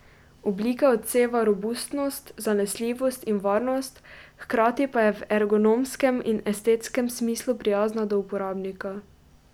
Oblika odseva robustnost, zanesljivost in varnost, hkrati pa je v ergonomskem in estetskem smislu prijazna do uporabnika.